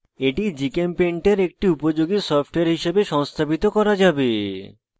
এটি gchempaint এটি একটি উপযোগী সফটওয়্যার হিসাবে সংস্থাপিত করা যাবে